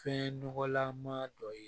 Fɛn nɔgɔlan ma dɔ ye